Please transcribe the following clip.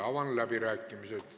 Avan läbirääkimised.